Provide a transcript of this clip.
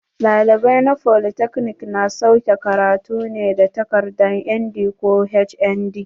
Ɗalibai na folytekni na sauke karatu ne da takadar ND ko HND.